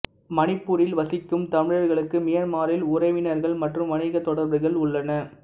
மணிப்பூரில் வசிக்கும் தமிழர்களுக்கு மியான்மரில் உறவினர்கள் மற்றும் வணிக தொடர்புகள் உள்ளன